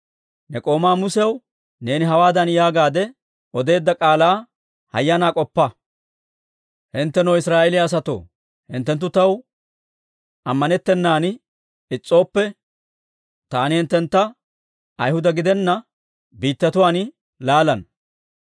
Ne k'oomaa Musew neeni hawaadan yaagaadde odeedda k'aalaa hayyanaa k'oppa; ‹Hinttenoo, Israa'eeliyaa asatoo, hinttenttu taw ammanettennan is's'ooppe, taani hinttentta Ayhuda gidenna biittatuwaan laalana.